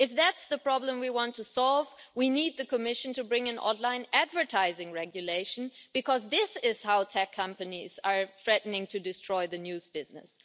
If that's the problem we want to solve, we need the Commission to bring in online advertising regulation, because this is how tech companies are threatening to destroy the news business.